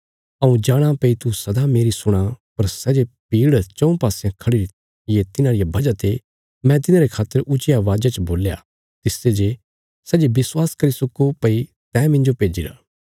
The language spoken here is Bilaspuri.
हऊँ जाणा भई तू सदा मेरी सुणा पर सै जे भीड़ चऊँ पासयां खढ़िरी थी ये तिन्हां रिया वजह ते मैं तिन्हांरे खातर ऊच्चिया अवाजा च बोल्या तिसते जे सै ये विश्वास करी सक्को भई तैं मिन्जो भेज्जिरा